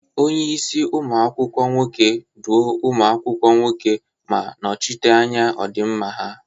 Onye isi umu akwukwo nwoke, duo ụmụ akwụkwọ nwoke ma nọchite anya ọdịmma ha.